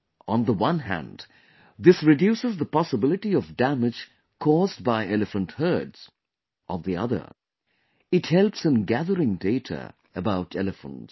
On the one hand, this reduces the possibility of damage caused by elephant herds; on the other, it helps in gathering data about elephants